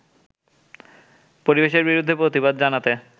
পরিবেশের বিরুদ্ধে প্রতিবাদ জানাতে